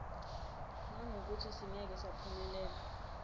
ngangokuthi singeke saphumelela